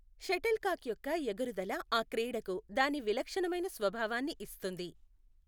Shuttle కాక్ యొక్క ఎగురుదల ఆ క్రీడకు దాని విలక్షణమైన స్వభావాన్ని ఇస్తుంది.